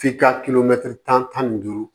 F'i ka kilomɛtiri tan ni duuru